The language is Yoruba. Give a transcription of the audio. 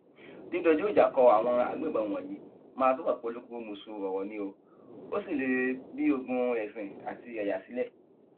dídójú ìjà kó àwọn agbébọn wọnyí máa túbọ polúkúrúmuṣu ọrọ ni ó sì lè bi ogún ẹsìn àti ẹyà sílẹ